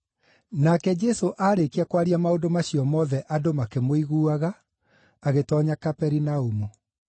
Nake Jesũ aarĩkia kwaria maũndũ macio mothe andũ makĩmũiguaga, agĩtoonya Kaperinaumu.